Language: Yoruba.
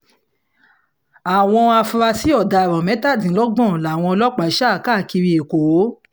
àwọn afurasí ọ̀daràn mẹ́tàdínlọ́gbọ̀n làwọn ọlọ́pàá sá káàkiri èkó